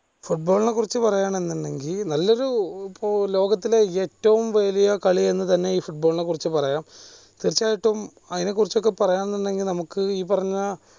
football നെ കുറിച്ച് പറയാണേൽ നല്ലൊരു ലോകത്തിലെ ഏറ്റവും വലിയ കളി എന്ന് തന്നെ ഈ football നെ കുറിച്ച് പറയാം തീർച്ചയായിട്ടും അയിനെ കുറിച്ചൊക്കെ പറയാൻ നിന്ന് കഴിഞ്ഞാൽ നമുക്ക് ഈ പറഞ്ഞ